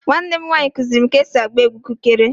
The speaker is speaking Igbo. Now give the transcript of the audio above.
Nwannem nwaanyi kuziri m ka esi agba egwu kụkere